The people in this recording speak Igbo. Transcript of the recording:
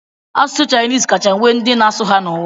Asụsụ Chinis kacha nwee ndị na-asụ ya n'ụwa.